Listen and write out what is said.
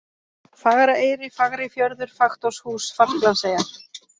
Fagraeyri, Fagrifjörður, Faktorshús, Falklandseyjar